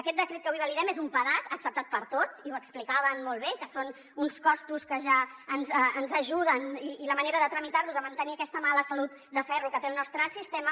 aquest decret que avui validem és un pedaç acceptat per tots i ho explicaven molt bé que són uns costos que ja ens ajuden i la manera de tramitar los a mantenir aquesta mala salut de ferro que té el nostre sistema